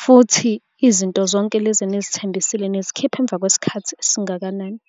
futhi izinto zonke lezi enizithembisile, nizikhipha emva kwesikhathi esingakanani?